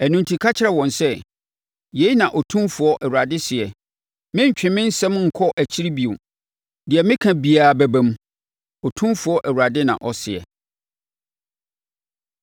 “Ɛno enti ka kyerɛ wɔn sɛ, ‘Yei na Otumfoɔ Awurade seɛ: Merentwe me nsɛm nkɔ nkyiri bio. Deɛ meka biara bɛba mu, Otumfoɔ Awurade na ɔseɛ.’ ”